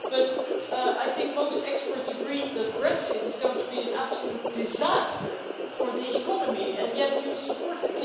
But I think most experts agree that Brexit is going to be an absolute disaster for the economy, and yet you support it.